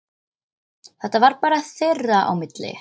Þetta var bara þeirra á milli.